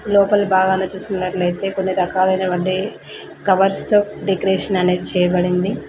లోపలి భాగాన చూసుకున్నట్లయితే కొన్ని రాకలైనవంటి కవర్స్ తో డెకొరేషన్ అనేది చేయబడి ఉంది.